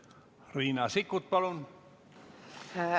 Riina Sikkut, palun!